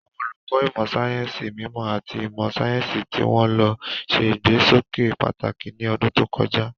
Àwọn olùkọ́ ìmọ̀ sáyẹ́sì mímọ́ àti ìmọ̀ sáyẹ́sì tí wọ́n lò ṣe ìgbésókè pàtàkì ní ọdún tó kọjá.